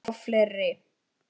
Og fleiri